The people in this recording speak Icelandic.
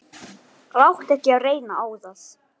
Láttu ekki reyna á það.